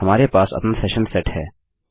हमारे पास अपना सेशन सेट है